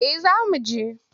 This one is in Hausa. Eh za mu je.